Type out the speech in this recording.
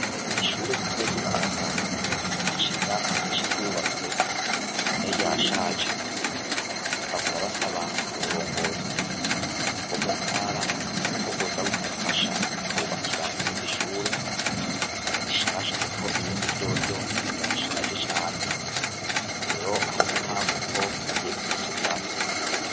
Ishure ritoyi ry'imuyaga hashize imyaka myinshi ryubatswe none ryashaje baguma basaba uburongozi bwo muntara ko bwoza kubafasha bakabubakira irindi shure rishasha irindi ryoryo ryashaje cane, rero hari umuhango ko bagiye kurisubiramwo.